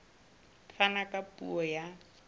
a fana ka puo ya